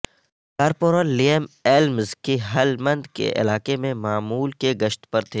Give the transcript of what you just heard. corporal Liam Elms کی Helmand کے علاقے میں معمول کے گشت پر تھے